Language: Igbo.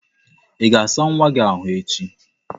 Ị ga-asa nwa ahụ echi!